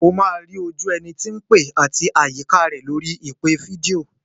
O máa rí ojú ẹni tí ń pè àti àyíká rẹ̀ lórí ìpè fídíò.